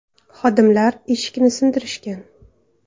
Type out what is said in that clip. Xodimlar eshikni sindirishgan.